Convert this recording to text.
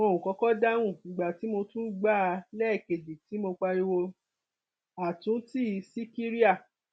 wọn ò kọkọ dáhùn ìgbà tí mo tún gbà á lẹẹkejì tí mo pariwo àtúntì síkíríà